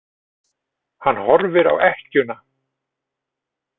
Hann horfir á ekkjuna.